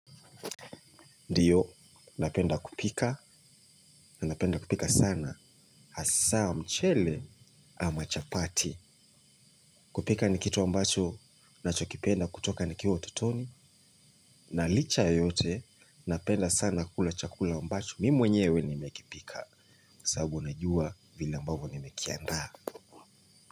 Ndiyo, napenda kupika, napenda kupika sana, hasa mchele ama chapati. Kupika ni kitu ambacho, nacho kipenda kutoka nikiwa utotoni, na licha yote, napenda sana kukula chakula ambacho, mimi mwenyewe nimekipika, sababu najua vile ambavyo nimekiandaa.